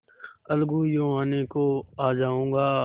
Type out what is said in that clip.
अलगूयों आने को आ जाऊँगा